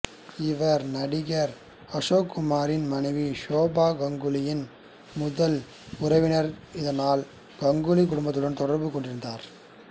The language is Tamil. இவர் நடிகர் அசோக்குமாரின் மனைவி ஷோபா கங்குலியின் முதல் உறவினர் இதனால் கங்குலி குடும்பத்துடனும் தொடர்பு கொண்டிருந்தார்